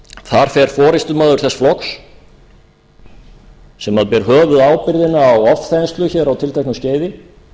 þar fer forustumaður þess flokks sem ber höfuðábyrgðina á ofþenslu á tilteknu skeiði